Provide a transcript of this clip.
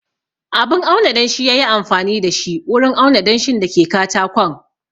Abun auna danshi ya yi amfani da shi wurin auna danshin da ke katakon